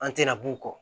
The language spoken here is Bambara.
An tɛna b'u kɔ